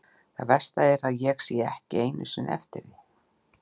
Það versta er að ég sé ekki einu sinni eftir því.